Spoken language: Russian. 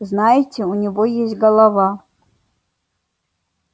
знаете у него есть голова